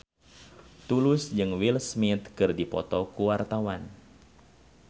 Tulus jeung Will Smith keur dipoto ku wartawan